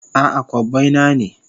A'a, kobbai na ne.